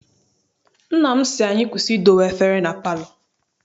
Nna m sị anyị kwụsị idowe efere na palọ.